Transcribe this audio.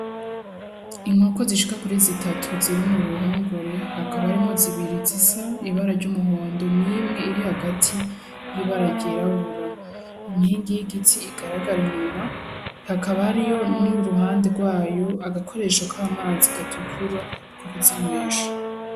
Inkoko zishika kuri zitatu ziri muruhongore hakaba harimwo zibiri zisa ibara ry'umuhondo nimwe iri hagati y'ibara ryirabura. Inkingi y'igiti igaragara inyuma, hakaba hariyo n'uruhande rw'ayo agakoresho k'amazi gatukura ko kuzinywesha.